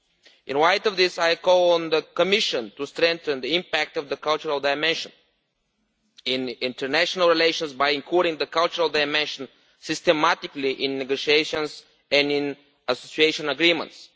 In light of this, I call on the Commission to strengthen the impact of the cultural dimension in international relations by including the cultural dimension systematically in negotiations and in association agreements.